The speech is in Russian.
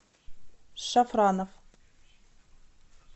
шафраноф